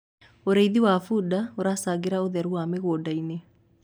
ũrĩithi wa bunda uracangira utheru wa mĩgũnda-inĩ